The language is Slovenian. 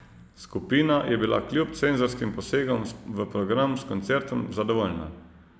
Skupina je bila kljub cenzorskim posegom v program s koncertom zadovoljna.